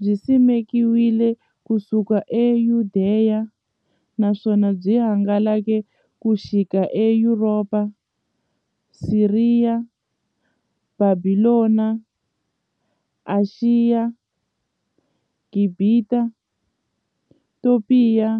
Byisimekiwe ku suka e Yudeya, naswona byi hangalake ku xika e Yuropa, Siriya, Bhabhilona, Ashiya, Gibhita, Topiya